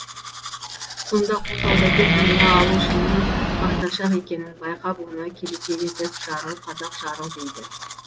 сонда қу саудагер дүние алушының мақтаншақ екенін байқап оны келеке етіп жарыл қазақ жарыл дейді